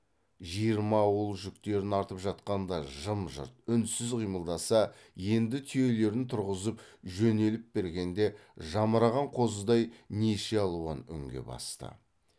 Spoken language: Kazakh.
жиырма ауыл жүктерін артып жатқанда жым жырт үнсіз қимылдаса енді түйелерін тұрғызып жөнеліп бергенде жамыраған қозыдай неше алуан үнге басты